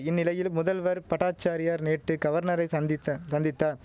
இந்நிலையில் முதல்வர் பட்டாசாரியார் நேற்று கவர்னரை சந்தித்த சந்தித்தா